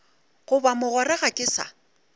goba mogwera ga ke sa